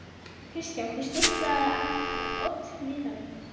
Kristján: Og stimplað af oddvitanum?